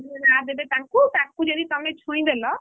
ପାଇ ଭଳିଆ ରାହା ଦେବେ ତାଙ୍କୁ ଆଉ ତାଙ୍କୁ ଯଦି ତମେ ଛୁଇଁ ଦେଲ।